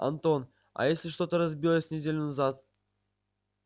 антон а если что-то разбилось неделю назад